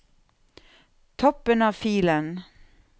Toppen av filen